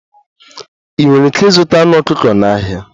Ị nwere ike ịzụta anụ ọkụkọ na ahịa